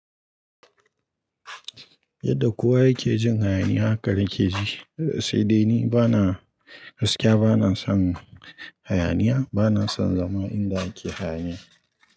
Yadda kowa yake jin hayaniya haka nake ji. Sai dai ni bana gaskiya bana son hayaniya, bana son zama inda ake hayaniya.